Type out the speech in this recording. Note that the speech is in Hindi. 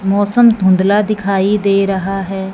मौसम धुंधला दिखाई दे रहा है।